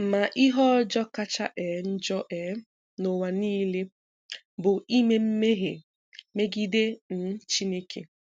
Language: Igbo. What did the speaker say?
Ma ihe ọjọọ kacha um njọ um n’ụwa niile bụ ime mmehie megide um Chineke.